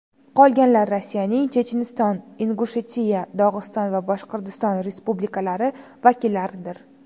Qolganlar Rossiyaning Checheniston, Ingushetiya, Dog‘iston va Boshqirdiston respublikalari vakillaridir.